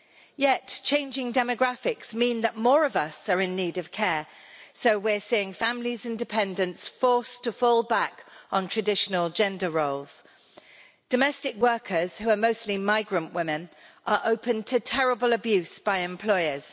Yet, changing demographics mean that more of us are in need of care, so we're seeing families and dependants forced to fall back on traditional gender roles. Domestic workers, who are mostly migrant women, are open to terrible abuse by employers.